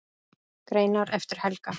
Greinar eftir Helga